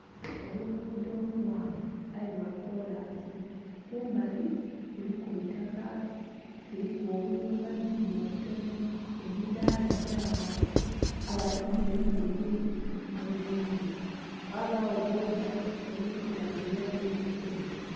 Oluguudho olughanvu aye lwakoolansi kumali kuliku eitaka kuliku obuyumba-yumba obutonho, emidhaala gya bantu abatundha engoye nhe bindhi ghabaagho booda edhili kutambulula mu luguudha lunho.